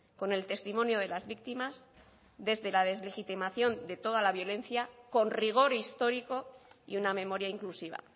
con el testimonio de las víctimas desde la deslegitimación de toda la violencia con rigor histórico y una memoria inclusiva